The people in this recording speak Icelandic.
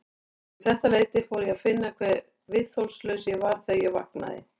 Um þetta leyti fór ég að finna hve viðþolslaus ég var þegar ég vaknaði.